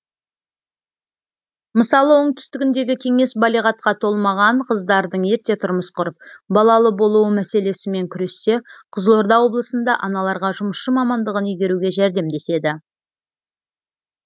мысалы оңтүстігіндегі кеңес балиғатқа толмаған қыздардың ерте тұрмыс құрып балалы болуы мәселесімен күрессе қызылорда облысында аналарға жұмысшы мамандығын игеруге жәрдемдеседі